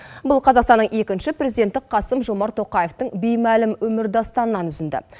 бұл қазақстанның екінші президенті қасым жомарт тоқаевтың беймәлім өмірдастанынан үзінді